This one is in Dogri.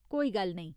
कोई गल्ल नेईं।